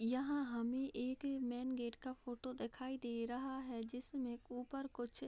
यहाँ हमे एक मेन गेट का फोटो दिखाई दे रहा है जिसमे ऊपर कुछ --